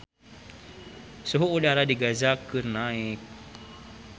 Suhu udara di Gaza keur naek